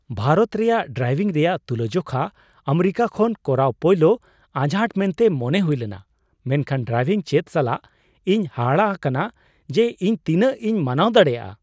ᱵᱷᱟᱨᱚᱛ ᱨᱮ ᱰᱨᱟᱭᱵᱷᱤᱝ ᱨᱮᱭᱟᱜ ᱛᱩᱞᱟᱹᱡᱚᱠᱷᱟ ᱟᱢᱮᱨᱤᱠᱟ ᱠᱷᱚᱱ ᱠᱚᱨᱟᱣ ᱯᱳᱭᱞᱳ ᱟᱡᱷᱟᱴ ᱢᱮᱱᱛᱮ ᱢᱚᱱᱮ ᱦᱩᱭ ᱞᱮᱱᱟ, ᱢᱮᱱᱠᱷᱟᱱ ᱰᱨᱟᱭᱵᱷᱤᱝ ᱪᱮᱫ ᱥᱟᱞᱟᱜ, ᱤᱧ ᱦᱟᱦᱟᱲᱟᱜ ᱟᱠᱟᱱᱟ ᱡᱮ ᱤᱧ ᱛᱤᱱᱟᱹᱜ ᱤᱧ ᱢᱟᱱᱟᱣ ᱫᱟᱲᱮᱭᱟᱜᱼᱟ ᱾